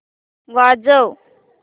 वाजव